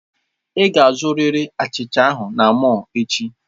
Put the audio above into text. Ị ga-azụrịrị achicha ahụ na mọll echi!